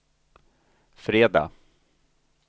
fredag